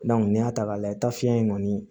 n'i y'a ta k'a lajɛ taa fiɲɛ in kɔni